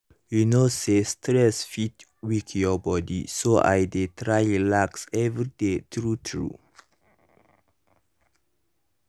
you know say stress fit weak your body so i dey try relax every day true true.